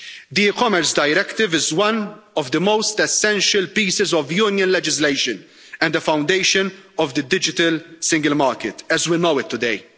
The e-Commerce Directive is one of the most essential pieces of Union legislation and the foundation of the digital single market as we know it today.